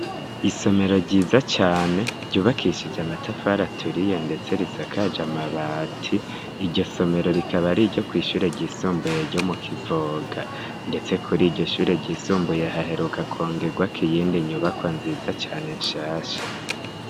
isomero ryiza cane ryubakishije amatafara aturiye ndetse risakaje amabati iryo somero rikaba ari ryo kw'ishure ry'isumbuye ryo mu kivoga ndetse kuri iryo shure ryisumbuye haheruka kongegwa k'iyindi nyubaka nziza cane nshasha